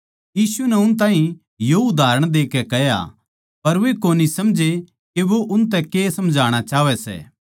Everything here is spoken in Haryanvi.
यीशु नै उन ताहीं यो उदाहरण देकै कह्या पर वे कोनी समझे के वो उनतै के समझणा चाहवै